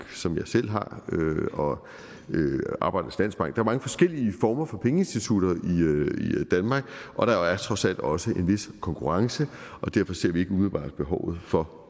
som jeg selv har og arbejdernes landsbank der er mange forskellige former for pengeinstitutter i danmark og der er jo trods alt også en vis konkurrence derfor ser vi ikke umiddelbart behovet for